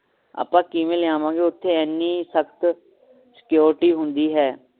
ਆਪਾਂ ਕਿਵੇਂ ਲਿਆਵਾਂਗੇ ਓਥੇ ਇੰਨੀ ਸਖਤ security ਹੁੰਦੀ ਹੈ